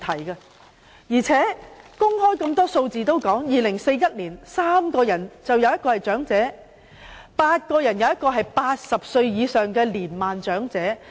而且，很多公開數字均已說明，到了2041年，每3人當中便有1人是長者，每8人當中便有1人是80歲或以上的年邁長者。